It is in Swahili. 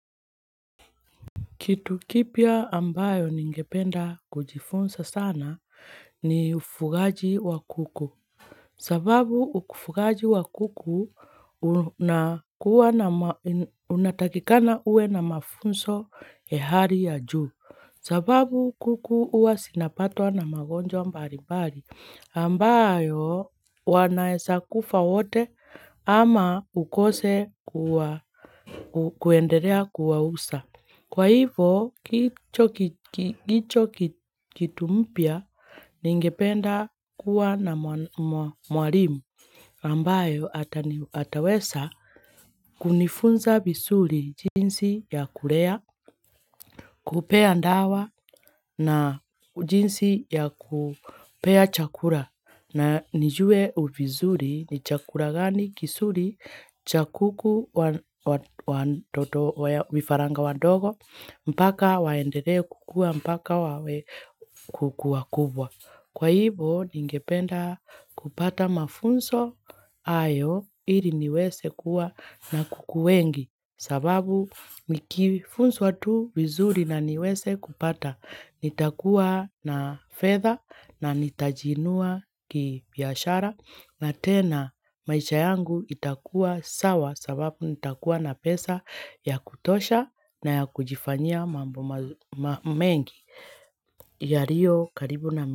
Kitu kipya ambayo ningependa kujifunza sana ni ufugaji wa kuku. Sababu ufugaji wa kuku unatakikana uwe na mafunzo ya hali ya juu. Sababu kuku ua sinapatwa na magonjo ambari ambayo wanaesa kufa wote ama ukose kuenderea kuwa usa. Kwa hivo kicho kitu mpya ningependa kuwa na mwalimu ambayo ataweza kunifunza vizuri jinsi ya kulea, kupea dawa na jinsi ya kupea chakula. Na nijue vizuri ni chakula gani kizuri cha kuku wafaranga wadogo mpaka waendelee kukua mpaka wawe kukua kubwa. Kwa hivo ningependa kupata mafunzo hayo ili niweze kuwa na kuku wengi. Sababu mikifunzu watu wazuri na niweze kupata. Nitakuwa na fedha na nitajiinua kibiashara. Na tena maisha yangu itakuwa sawa sababu nitakuwa na pesa ya kutosha na ya kujifanya mambo mengi. Yariyo karibu na mingi.